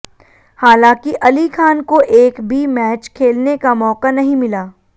हालांकि अली खान को एक भी मैच खेलने का माैका नहीं मिला